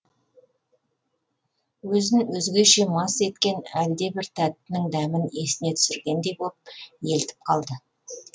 өзін өзгеше мас еткен әлдебір тәттінің дәмін есіне түсіргендей боп елтіп қалды